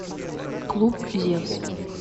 клуб зевс